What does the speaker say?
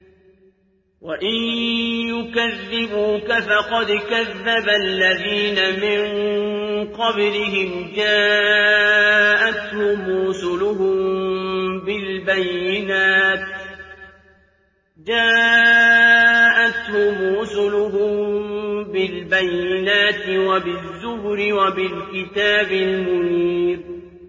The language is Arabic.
وَإِن يُكَذِّبُوكَ فَقَدْ كَذَّبَ الَّذِينَ مِن قَبْلِهِمْ جَاءَتْهُمْ رُسُلُهُم بِالْبَيِّنَاتِ وَبِالزُّبُرِ وَبِالْكِتَابِ الْمُنِيرِ